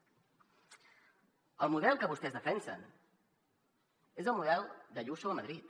el model que vostès defensen és el model d’ayuso a madrid